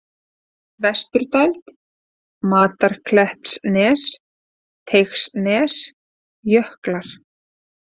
Vesturdæld, Matarklettsnes, Teigsnes, Jöklar